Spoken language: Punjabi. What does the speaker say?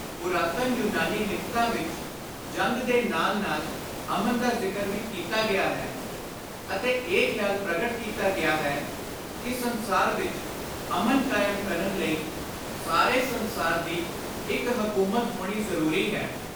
ਪੁਰਾਤਨ ਯੁਨਾਨੀ ਲਿਖਤਾਂ ਵਿਚ ਜੰਗ ਦੇ ਨਾਲ ਨਾਲ ਅਮਨ ਦਾ ਜ਼ਿਕਰ ਵੀ ਕੀਤਾ ਗਿਆ ਹੈ ਅਤੇ ਇਹ ਖ਼ਿਆਲ ਪ੍ਰਗਟ ਕੀਤਾ ਗਿਆ ਹੈ ਕਿ ਸੰਸਾਰ ਵਿਚ ਅਮਨ ਕਾਇਮ ਕਰਨ ਲਈ ਸਾਰੇ ਸੰਸਾਰ ਦੀ ਇਕ ਹਕੂਮਤ ਹੋਣੀ ਜ਼ਰੂਰੀ ਹੈ।